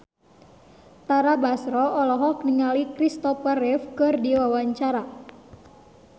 Tara Basro olohok ningali Christopher Reeve keur diwawancara